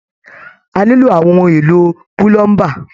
A nilo àwọn ohun èlò pulomba.